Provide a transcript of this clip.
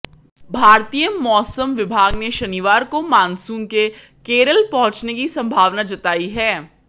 भारतीय मौसम विभाग ने शनिवार को मानसून के केरल पहुंचने की संभावना जताई है